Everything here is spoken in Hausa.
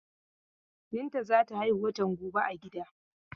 Binta za ta haihu watan gobe a gida.